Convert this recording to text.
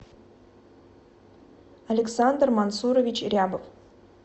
александр мансурович рябов